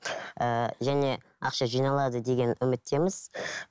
ііі және ақша жиналады деген үміттеміз